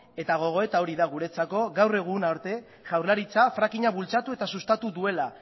eta gogoeta hori da guretzako gaur egun arte jaurlaritzak fracking a bultzatu eta sustatu duela